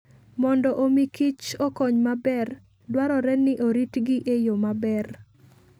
Mondo omi Kich okony maber, dwarore ni oritgi e yo maber.